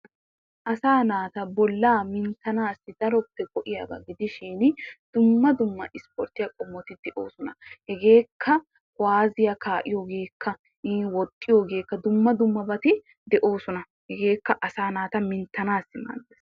Asaa naata bollaa minttanaassi daroppe go'iyaba gidishin dumma dumma isporttiya qommoti de'oosona. Hegeekka kuwaaziya kaa'iyogeekka iin woxxiyogeekka dumma dummabayi de'oosona. Hegeekka asaa naata minttanaassi maaddes.